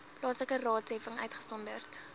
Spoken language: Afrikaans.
plaaslike raadsheffings uitgesonderd